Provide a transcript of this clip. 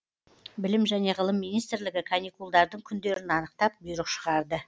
білім және ғылым министрлігі каникулдардың күндерін анықтап бұйрық шығарды